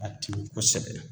Ka timi kosɛbɛ